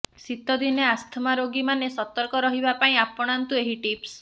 ଶୀତ ଦିନେ ଆସ୍ଥମା ରୋଗୀମାନେ ସର୍ତକ ରହିବା ପାଇଁ ଆପଣାନ୍ତୁ ଏହି ଟିପ୍ସ